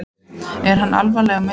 Er hann alvarlega meiddur?